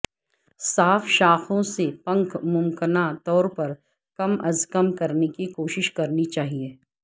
صاف شاخوں سے پنکھ ممکنہ طور پر کم از کم کرنے کی کوشش کرنی چاہئے